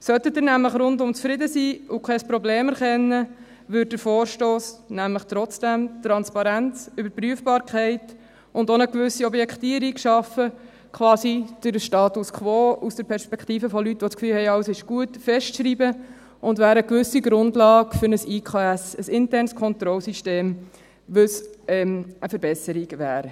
Sollten Sie nämlich rundum zufrieden sein und kein Problem erkennen, würde der Vorstoss nämlich trotzdem Transparenz, Überprüfbarkeit und auch eine gewisse Objektivierung schaffen – quasi den Status quo aus der Perspektive von Leuten, die das Gefühl haben, alles sei gut, festschreiben – und wäre eine gewisse Grundlage für ein Internes Kontrollsystem (IKS), was eine Verbesserung wäre.